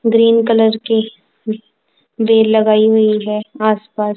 green colour की बेल लगाई हुई है आसपास--